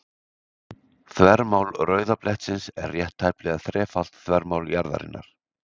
Þvermál rauða blettsins er rétt tæplega þrefalt þvermál jarðarinnar.